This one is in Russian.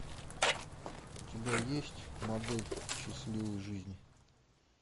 у тебя есть модель счастливой жизни